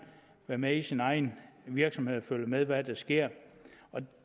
være med i sin egen virksomhed og følge med i hvad der sker